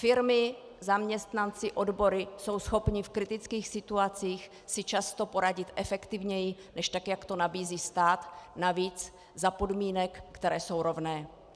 Firmy, zaměstnanci, odbory jsou schopni v kritických situacích si často poradit efektivněji než tak, jak to nabízí stát, navíc za podmínek, které jsou rovné.